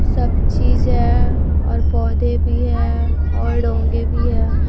सब चीजें है और पौधे भी है और डोंगे भी है।